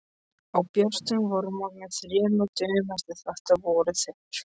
Á björtum vormorgni þremur dögum eftir þetta voru þeir